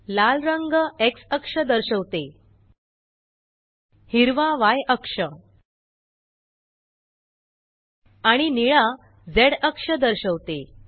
लाल रंग Xअक्ष दर्शवते हिरवा य अक्ष आणि निळा झ अक्ष दर्शवते